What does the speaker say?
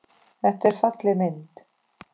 Þetta er falleg mynd.